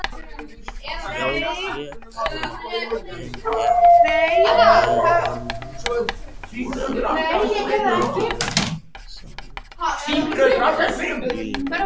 Hljóp frekar en gekk með hann í áttina að sendiferðabílnum.